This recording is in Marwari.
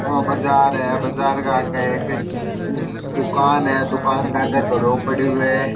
और बाजार है बाजार आगे एक हम्म दुकान है दुकान के आगे एक घड़ो पड़े है।